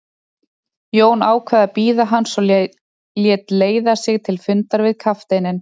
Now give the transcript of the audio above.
Jón ákvað að bíða hans og lét leiða sig til fundar við kafteininn.